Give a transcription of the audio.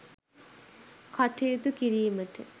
කටයුතු කිරීමට